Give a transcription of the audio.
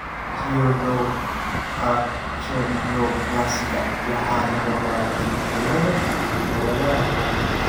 Pseudoachondroplasiga waxaa sababa isbeddellada hidda-wadaha COMP.